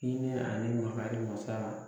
Hinɛ ani makari mansa